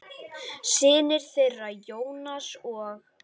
Synir þeirra, Jónas og